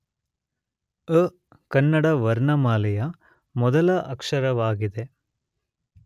ಅ ಕನ್ನಡ ವರ್ಣಮಾಲೆಯ ಮೊದಲ ಅಕ್ಷರವಾಗಿದೆ.